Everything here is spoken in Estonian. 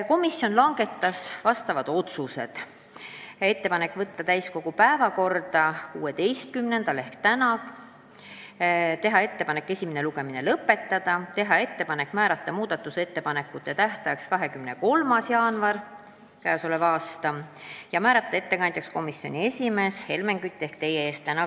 Komisjon langetas järgmised otsused: teha ettepanek võtta eelnõu täiskogu 16. jaanuari istungi päevakorda, teha ettepanek esimene lugemine lõpetada, määrata muudatusettepanekute tähtajaks 23. jaanuar ja ettekandjaks komisjoni esimees Helmen Kütt.